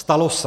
Stalo se.